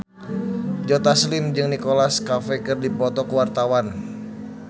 Joe Taslim jeung Nicholas Cafe keur dipoto ku wartawan